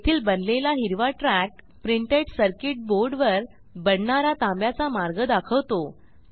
येथील बनलेला हिरवा ट्रॅक प्रिंटेड सर्किट boardवर बनणारा तांब्याचा मार्ग दाखवतो